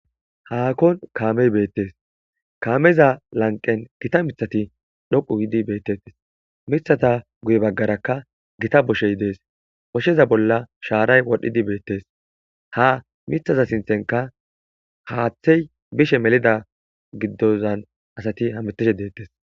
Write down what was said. haakon kaamey beettes kaameza lanqen gita mithati dhoqu gidi beettettes mithata guye baggarakka gita boshey dees bosheza bolla shaaray wodhdhidi beettes ha mithaza sinthenka haaththey bishe melida giddozan asati hamitishe deettes